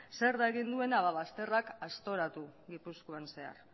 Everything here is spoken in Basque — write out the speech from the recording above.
zer da egin duena bazterrak aztoratu gipuzkoan zehar